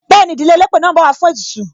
Bẹẹni, ìdílé elépè náà ń bọ̀ wá fún ètùtù.